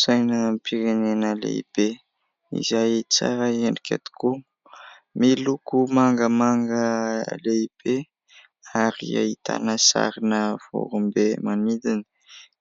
Sainam-pirenena lehibe izay tsara endrika tokoa ; miloko mangamanga lehibe ary ahitana sarina vorombe manidina.